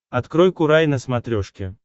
открой курай на смотрешке